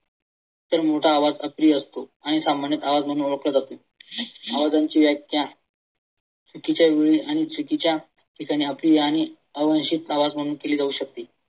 तर तुमचा असतो आणि आवाज म्हणून ओळखला जातो. आवाजांची व्याख्या चुकीच्या वेळी आणि चुकीच्या ठिकाणी आवाज म्हणून केली जाऊ शकते.